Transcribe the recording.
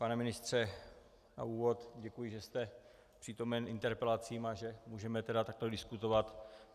Pane ministře, na úvod děkuji, že jste přítomen interpelacím, a že můžeme tedy takto diskutovat.